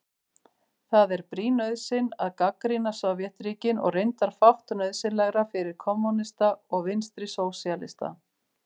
Það er brýn nauðsyn að gagnrýna Sovétríkin og reyndar fátt nauðsynlegra fyrir kommúnista og vinstrisósíalista.